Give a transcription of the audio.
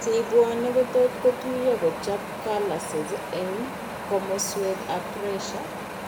Cheibwone kotot kotuiyo kochob calluses eng' komoswek ab pressure